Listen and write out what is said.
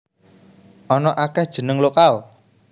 Ana akéh jeneng lokal